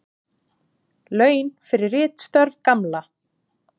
Laun fyrir ritstörf Gamla.